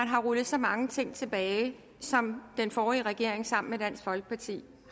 har rullet så mange ting tilbage som den forrige regering sammen med dansk folkeparti